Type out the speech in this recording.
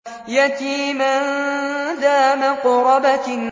يَتِيمًا ذَا مَقْرَبَةٍ